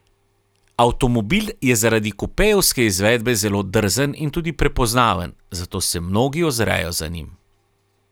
Avtomobil je zaradi kupejevske izvedbe zelo drzen in tudi prepoznaven, zato se mnogi ozrejo za njim.